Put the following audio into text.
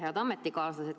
Head ametikaaslased!